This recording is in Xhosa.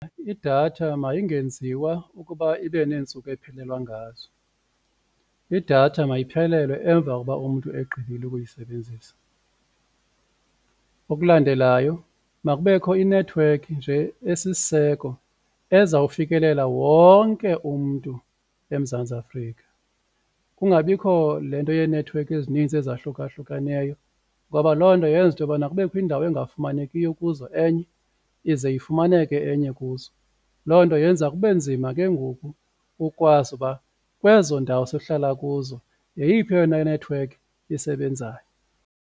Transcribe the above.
Idatha mayingenziwa ukuba ibe neentsuku ephelelwa ngazo, idatha mayiphelele emva kokuba umntu egqibile ukuyisebenzisa. Okulandelayo makubekho inethiwekhi nje esisiseko ezawufikelela wonke umntu eMzantsi Afrika kungabikho le nto yenethiwekhi ezininzi ezahlukahlukeneyo ngoba loo nto yenza into yokubana kubekho indawo engafumanekiyo kuzo enye, ize ifumaneke enye kuzo loo nto yenza kube nzima ke ngoku ukwazi uba kwezo ndawo sihlala kuzo yeyiphi eyona nethiwekhi isebenzayo.